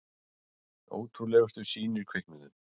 Ótrúlegustu sýnir kviknuðu.